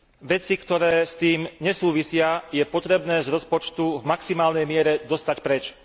Veci, ktoré s tým nesúvisia, je potrebné z rozpočtu v maximálnej miere dostať preč.